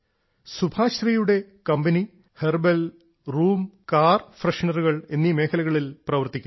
സുഭശ്രീയുടെ company herbal room car ഫ്രഷ്നറുകൾ എന്നീ മേഖലകളിൽ പ്രവർത്തിക്കുന്നു